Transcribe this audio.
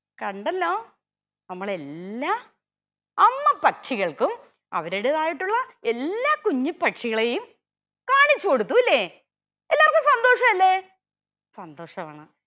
കണ്ടല്ലോ നമ്മൾ എല്ലാ അമ്മപ്പക്ഷികൾക്കും അവരുടേതായിട്ടുള്ള എല്ലാ കുഞ്ഞിപ്പക്ഷികളെയും കാണിച്ചു കൊടുത്തുല്ലേ എല്ലാർക്കും സന്തോഷല്ലേ സന്തോഷാണ്